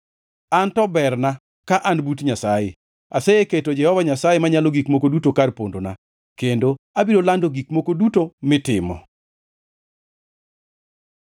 An to berna ka an but Nyasaye. Aseketo Jehova Nyasaye Manyalo Gik Moko Duto kar pondona, kendo abiro lando gik moko duto mitimo.